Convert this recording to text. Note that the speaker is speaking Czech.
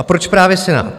A proč právě Senát?